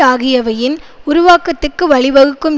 ஆகியவையின் உருவாக்கத்துக்கு வழிவகுக்கும்